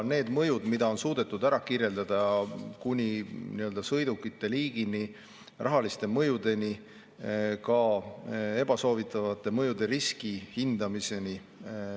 Neid mõjusid, mida on suudetud kirjeldada – kuni sõidukite liigini oleneva rahalise mõjuni –, on ikkagi jõudu mööda.